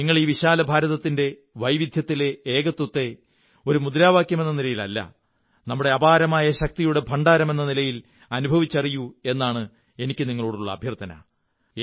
നിങ്ങൾ ഈ വിശാല ഭാരതത്തിന്റെ വൈവിധ്യത്തിലെ ഏകത്വത്തെ ഒരു മുദ്രാവാക്യമെന്ന നിലയിലല്ല നമ്മുടെ അപാരമായ ശക്തിയുടെ ഭണ്ഡാരമെന്ന നിലയിൽ അനുഭവിച്ചറിയൂ എന്നാണ് എനിക്കു നിങ്ങളോടുള്ള അഭ്യര്ഥാന